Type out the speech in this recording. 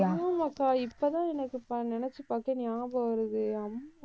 ஆமாக்கா இப்ப தான் எனக்கு ப~ நினைச்சு பார்த்தேன் ஞாபகம் வருது அம்மு.